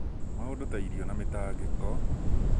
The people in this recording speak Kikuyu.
maũndũ ta irio na mĩtangĩko